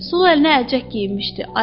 Sol əlinə əlcək geyinmişdi.